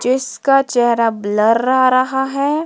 जिसका चेहरा ब्लर आ रहा है।